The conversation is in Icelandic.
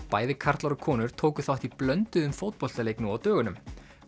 bæði karlar og konur tóku þátt í blönduðum fótboltaleik nú á dögunum